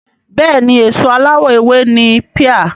Bẹ́ẹ̀ni èso aláwọ̀ ewé ni píà